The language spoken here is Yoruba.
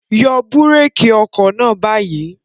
Yọ búrékì ọkọ̀ náà báyìí!